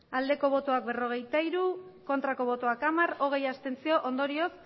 hamairu bai berrogeita hiru ez hamar abstentzioak hogei ondorioz